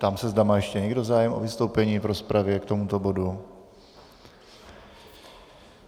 Ptám se, zda má ještě někdo zájem o vystoupení v rozpravě k tomuto bodu.